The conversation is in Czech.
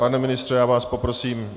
Pane ministře, já vás poprosím.